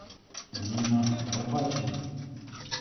нина лопатина